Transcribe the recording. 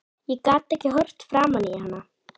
Ég gat ekki horft framan í hann.